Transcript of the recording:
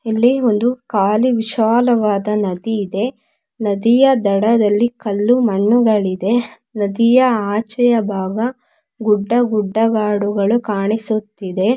ಇಲ್ಲಿ ಒಂದು ಖಾಲಿ ವಿಶಾಲವಾದ ನದಿಯಿದೆ ನದಿಯ ದಡದಲ್ಲಿ ಕಲ್ಲು ಮಣ್ಣುಗಳಿದೆ ನದಿಯ ಆಚೆಯ ಭಾಗ ಗುಡ್ಡಗುಡ್ಡಗಾಡುಗಳು ಕಾಣಿಸುತ್ತಿದೆ.